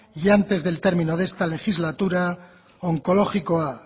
y antes del término de esta legislatura onkologikoa